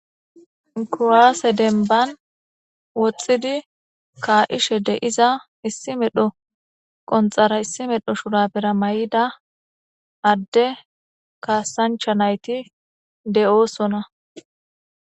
Kuwase demban woxidi ka'ishe de'iza issi medhora shurabera issi medhora qonxara mayida ade kasancha nayti de'osona